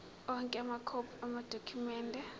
onke amakhophi amadokhumende